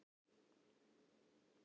Á eyjunum eru hvorki bílar eða akvegir.